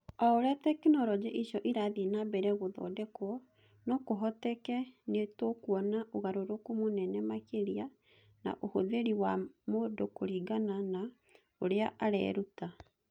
O ũrĩa tekinoronjĩ icio irathiĩ na mbere gũthondekwo, no kũhoteke nĩ tũkuona ũgarũrũku mũnene makĩria na ũhũthĩri wa mũndũ kũringana na ũrĩa areruta.